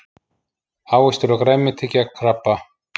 Ávextir og grænmeti gegn krabba